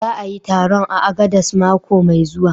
Za a a yi taron a Agades mako mai zuwa